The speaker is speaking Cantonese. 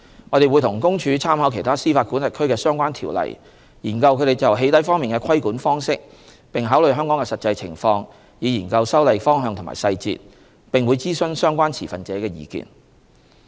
我們會與公署參考其他司法管轄區的相關條例，研究它們就"起底"方面的規管方式，並考慮香港的實際情況，以研究修例方向和細節，我們並會諮詢相關持份者的意見。